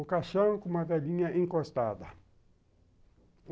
O caixão com uma velhinha encostada.